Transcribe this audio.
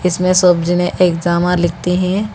इसमें सब जाने एग्जामा लिखते है।